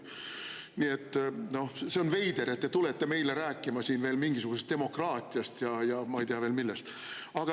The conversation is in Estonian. Nii et see on veider, et te tulete meile rääkima siin veel mingisugusest demokraatiast ja ma ei tea veel millest.